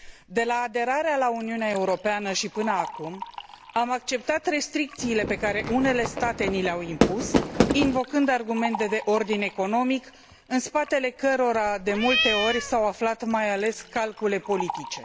De la aderarea la Uniunea Europeană și până acum, am acceptat restricțiile pe care unele state ni le au impus invocând argumente de ordin economic în spatele cărora, de multe ori, s au aflat mai ales calcule politice.